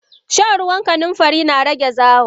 Shan ruwan kanunfari na rage zawo.